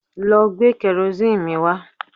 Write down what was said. Lọ gbé kẹrosíìnì mi wá